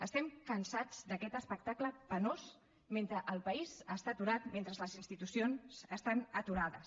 estem cansats d’aquest espectacle penós mentre el país està aturat mentre les institucions estan aturades